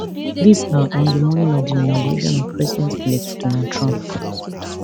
dis na on di morning of di inauguration of presidentelect donald trump